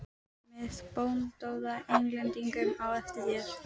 Með bandóða Englendinga á eftir þér.